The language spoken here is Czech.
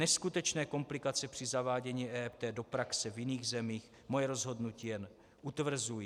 Neskutečné komplikace při zavádění EET do praxe v jiných zemích moje rozhodnutí jen utvrzují.